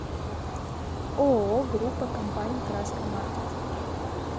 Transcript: ооо группа компаний краска маркет